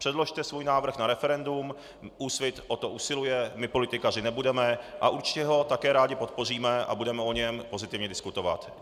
Předložte svůj návrh na referendum, Úsvit o to usiluje, my politikařit nebudeme a určitě ho také rádi podpoříme a budeme o něm pozitivně diskutovat.